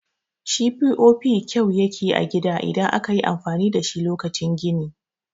Shi POP kyau yake a gida idan akayi amfani dashi lokacin gini